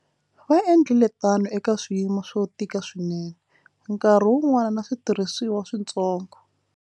Va endlile tano eka swiyimo swo tika swinene, nkarhi wun'wana na switirhisiwa swintsongo.